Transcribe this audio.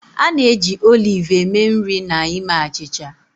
A na-eji oliv eme nri na ime achịcha.